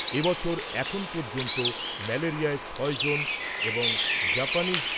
এবছর এখনও পর্যন্ত ম্যালেরিয়ায় ছয়জন এবং জাপানিজ